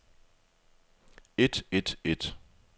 et et et